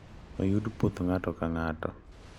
Oyud puoth ng`ato ka ng`ato.